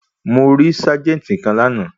Mo rí ságẹ́ńtì kan lánàá.